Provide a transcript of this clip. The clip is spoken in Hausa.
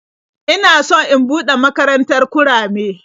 Ina so in buɗe makarantar kurame.